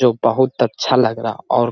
जो बहुत अच्छा लग रहा और --